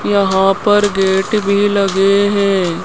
यहां पर गेट भी लगे हैं।